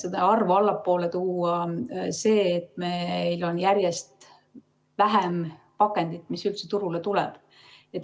seda arvu allapoole tuua see, et meil on järjest vähem pakendit, mis üldse turule tuleb.